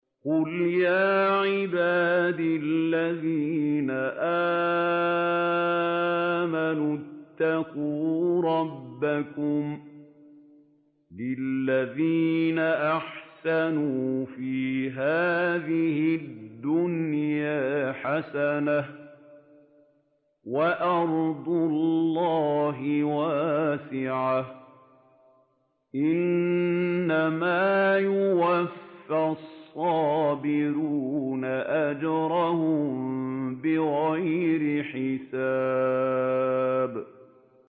قُلْ يَا عِبَادِ الَّذِينَ آمَنُوا اتَّقُوا رَبَّكُمْ ۚ لِلَّذِينَ أَحْسَنُوا فِي هَٰذِهِ الدُّنْيَا حَسَنَةٌ ۗ وَأَرْضُ اللَّهِ وَاسِعَةٌ ۗ إِنَّمَا يُوَفَّى الصَّابِرُونَ أَجْرَهُم بِغَيْرِ حِسَابٍ